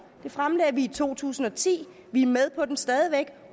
det fremlagde vi i to tusind og ti vi er med på den stadig væk